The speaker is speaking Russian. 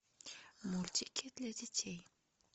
мультики для детей